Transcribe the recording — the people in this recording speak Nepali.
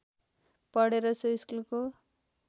पढेर सो स्कुलको